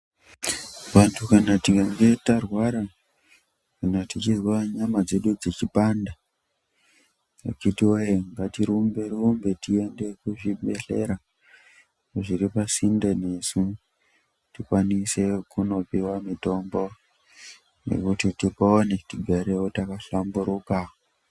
Vantu kana tikange tarwara kana techizwa nyama dzedu dzeipanda akiti woye ngatirumbe -rumbe tiende kuzvibhehlera zviripasinde nesu kuti tikwanise kopiwa mitombo yekuti tipone tigare takahlamburuka.